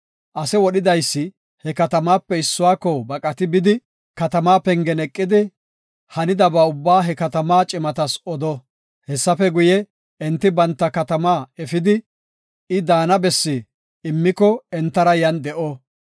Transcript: Ase wodhidaysi he katamatape issuwako baqatidi bidi, katamaa pengen eqidi, hanidaba ubbaa he katamaa cimatas odo. Hessafe guye, enti banta katamaa efidi, I daana bessi immiko entara yan de7o.